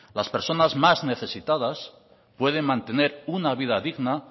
las personas más necesitadas pueden mantener una vida digna